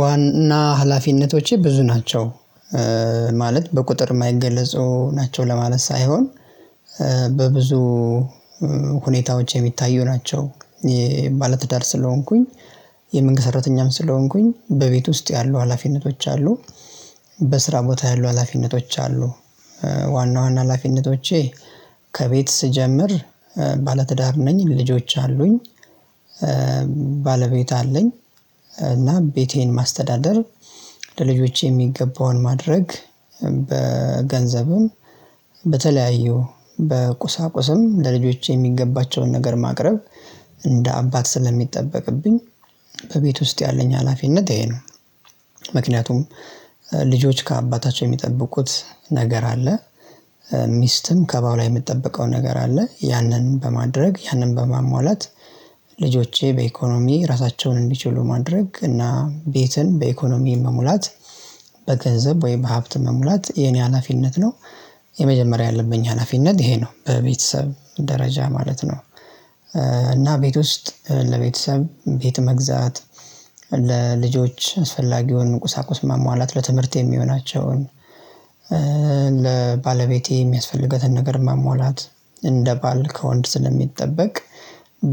ዋና ሀላፊነቶቼ ብዙ ናቸው ማለት በቁጥር የማይገለጹ ናቸው ለማለት ሳይሆን በብዙ ሁኔታዎች የሚታዩ ናቸው። የባለትዳር ስለሆንኩኝ የመንግስት ሰራተኛም ስለሆንኩኝ በቤት ውስጥ ያሉ ሀላፊነቶች አሉ። በስራ ቦታ ያሉ ሀላፊነቶች አሉ። ዋና ዋና ሀላፊነቶቼ ከቤት ስጀምር ባለትዳር ነኝ ልጆች አሉኝ። ባለቤት አለኝ። እና ቤቴን ማስተዳደር ለልጆቼ የሚገባውን ማድረግ በገንዘብም በተለያዩ በቁሳቁስም ለልጆቼ የሚገባቸውን ነገር ማቅረብ እንደ አባት ስለሚጠበቅብኝ ከቤት ውስጥ ያለኝ ሀላፊነት ይሄ ነው። ምክንያቱም ልጆች ከአባታቸው የሚጠብቁት ነገር አለ። ሚስትም ከባልዋ የሚጠበቀው ነገር አለ ያንን በማድረግ ያንን በማሟላት ልጆቼ በኢኮኖሚ ራሳቸውን እንዲችሉ ማድረግ እና ቤትን በኢኮኖሚ መሙላት በገንዘብ ወይም በሀብት መሙላት የኔ ሀላፊነት ነው። የመጀመሪያ ያለብኝ ሀላፊነት ይሄ ነው በቤተሰብ ደረጃ ማለት ነው። እና ቤት ውስጥ ለቤተሰብ ቤት መግዛት ለልጆች አስፈላጊውን ቁሳቁስ ማሟላት ለትምህርት የሚሆናቸውን ለባለቤቴ የሚያስፈልጋትን ነገር ማሟላት እንደ ባል ከወንድ ስለሚጠበቅ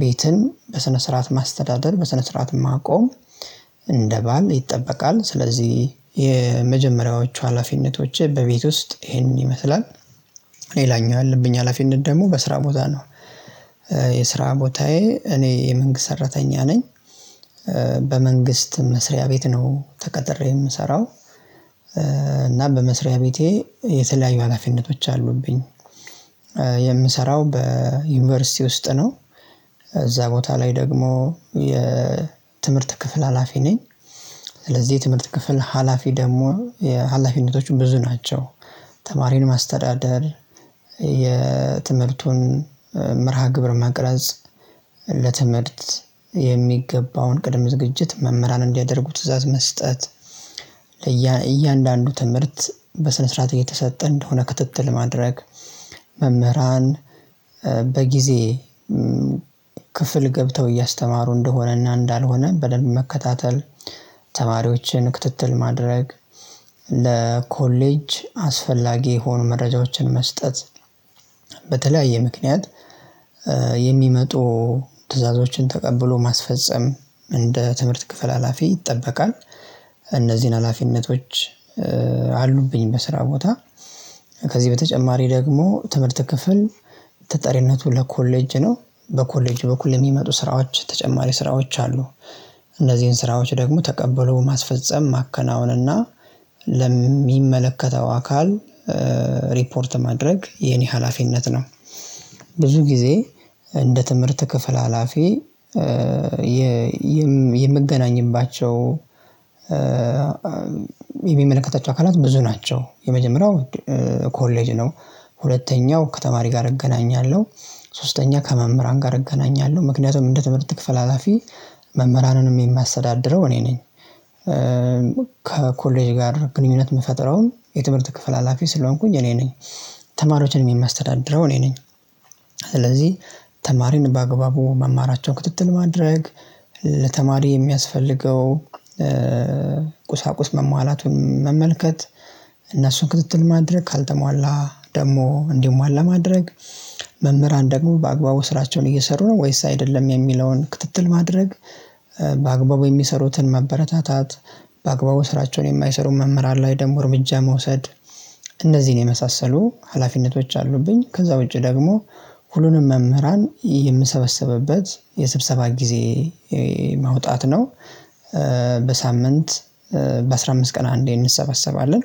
ቤትን በስነ ስርዓት ማስተዳደር በስነ ስርዓት ማቆም። እንደ ባል ይጠበቃል ስለዚህ የመጀመሪያዎቹ ሀላፊነቶች በቤት ውስጥ ይሄንን ይመስላል። ሌላኛ ያለብኝ ሀላፊነት ደግሞ በስራ ቦታ ነው። የስራ ቦታዬ እኔ የመንግስት ሰራተኛ ነኝ። በመንግስት መስሪያ ቤት ነው ተቀጥሬ የምሰራው። እና በመስሪያ ቤቴ የተለያዩ ሀላፊነቶች አሉብኝ። የምሰራው በዩኒቨርሲቲ ውስጥ ነው። እዛ ቦታ ላይ ደግሞ የ ትምህርት ክፍል ሀላፊ ነኝ። ስለዚህ ትምህርት ክፍል ሀላፊ ደግሞ የሀላፊነቶችን ብዙ ናቸው። ተማሪን ማስተዳደር የትምህርቱን መርሃ ግብር ማቅረጽ። ለትምህርት የሚገባውን ቅድም ዝግጅት መምህራን እንዲያደርጉት ትእዛዝ መስጠት። ለእያንዳንዱ ትምህርት በስነ ስርዓት እየተሰጠ እንደሆነ ክትትል ማድረግ። መምህራን በጊዜ ክፍልገብተው እያስተማሩ እንደሆነና እንዳልሆነ በደንብ መከታተል። ተማሪዎችን ክትትል ማድረግ። ለኮሌጅ አስፈላጊ የሆኑ መረጃዎችን መስጠት። በተለያየ ምክንያት የሚመጡ ትዕዛዞችን ተቀብሎ ማስፈጸም እንደ ትምህርት ክፍል ሀላፊ ይጠበቃል። እነዚህን ሀላፊነቶች አሉብኝ በስራ ቦታ ከዚህ በተጨማሪ ደግሞ ትምህርት ክፍል ተጣሪነቱ ለኮሌጅ ነው። በኮሌጅ በኩል የሚመጡ ስራዎች ተጨማሪ ስራዎች አሉ። እነዚህን ስራዎች ደግሞ ተቀብሎ ማስፈጸም ማከናወን እና ለሚመለከተው አካል ሪፖርት ማድረግ የኔ ሀላፊነት ነው። ብዙ ጊዜ እንደ ትምህርት ክፍል ሀላፊ የ የምገናኝባቸው የሚመለከታቸው አካላት ብዙ ናቸው። የመጀመሪያው ኮሌጅ ነው። ሁለተኛው ከተማሪ ጋር እገናኛለሁ። ሶስተኛ ከመምህራን ጋር እገናኛለሁ ምክንያቱም እንደ ትምህርት ክፍል ሀላፊ መምህራንንም የማሰዳድረው እኔ ነኝ። ከኮሌጅ ጋር ግንኙነት የምፈጥረውን የትምህርት ክፍል ሀላፊ ስለሆንኩኝ እኔ ነኝ። ተማሪዎችን የሚያስተዳድረው እኔ ነኝ። ስለዚህ ተማሪን በአግባቡ መማራቸውን ክትትል ማድረግ ለተማሪ የሚያስፈልገው ቁሳቁስ መሟላቱን መመልከት ክትትል ማድረግ ካልተሟላ ደግሞ እንዲሟላ ማድረግ። መምህራን ደግሞ በአግባቡ ስራቸውን እየሰሩ ነው ወይስ አይደለም የሚለውን ክትትል ማድረግ። በአግባቡ የሚሰሩትን መበረታታት። በአግባቡ ስራቸውን የማይሰሩ መምህራን ላይ ደግሞ እርምጃ መውሰድ። እነዚህን የመሳሰሉ ሀላፊነቶች አሉብኝ። ከዛ ውጪ ደግሞ ሁሉንም መምህራን የምሰበሰብበት የስብሰባ ጊዜ መውጣት ነው። በሳምንት በአሥራ አምስት ቀን አንዴ እንሰበሰባለን።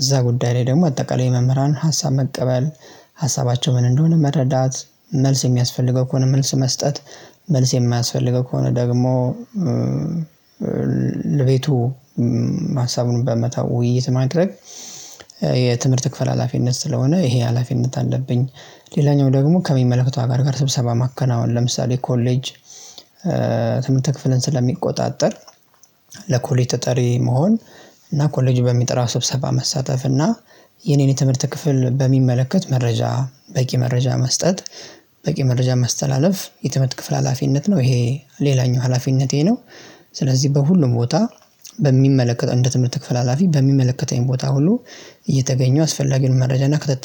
እዛ ጉዳይ ላይ ደግሞ አጠቃላይ መምህራን ሀሳብ መቀበል ሀሳባቸው ምን እንደሆነ መረዳት መልስ የሚያስፈልገው ከሆነ መልስ መስጠት። መልስ የማያስፈልገው ከሆነ ደግሞ ለቤቱ ሀሳቡን በመታው ውይይት ማድረግ። የትምህርት ክፍል ሀላፊነት ስለሆነ ይሄ ሀላፊነት አለብኝ። ሌላኛው ደግሞ ከሚመለከተው አካል ጋር ስብሰባ ማከናወን ለምሳሌ ኮሌጅ ትምህርት ክፍልን ስለሚቆጣጠር ለኮሌት ተጠሪ መሆን። እና ኮሌጁ በሚጠራ ስብሰባ መሳተፍ እና የኔን የትምህርት ክፍል በሚመለከት መረጃ በቂ መረጃ መስጠት። በቂ መረጃ ማስተላለፍ የትምርት ክፍል ሀላፊነት ነው ይሄ ሌላኛው ሀላፊነቴ ነው። ስለዚህ በሁሉም ቦታ በሚመለከተው እንደ ትምህርት ክፍል ሀላፊ በሚመለከተኝ ቦታ ሁሉ እየተገኘው አስፈላጊውን መረጃና ክትትል